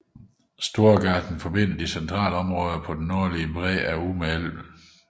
Storgatan forbinder de centrale områder på den nordlige bred af Ume älven